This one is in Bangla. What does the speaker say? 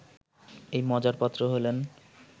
এই মজার পাত্র হলেন